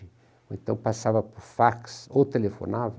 Ou então passava por fax ou telefonava.